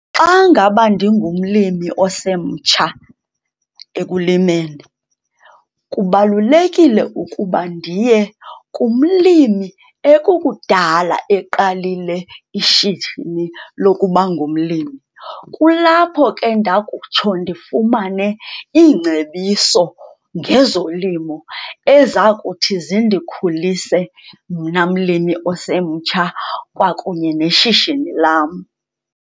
Xa ngaba ndingumlimi osemtsha ekulimeni kubalulekile ukuba ndiye kumlimi ekukudala eqalile ishishini lokuba ngumlimi. Kulapho ke ndakutsho ndifumane iingcebiso ngezolimo eza kuthi zindikhulise mna mlimi osemtsha kunye neshishini lam.